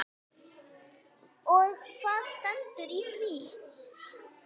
Og hvað stendur í því?